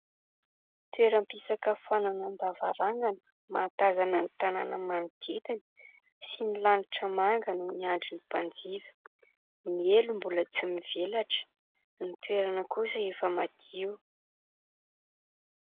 Toeram-pisakafoananan-davarangana mahatàzana ny tanàna manodidina sy ny lanitra manga no miandry ny mpanjifa. Ny elo mbola tsy mivelatra, ny toerana kosa efa madio.